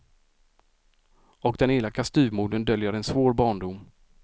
Och den elaka styvmodern döljer en svår barndom.